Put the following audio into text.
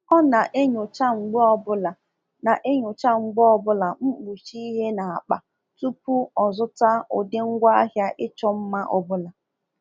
Ọ na-enyocha mgbe obula na-enyocha mgbe obula mkpuchi ihe n’akpa tupu o zụta ụdị ngwaahịa ịchọ mma ọ bụla.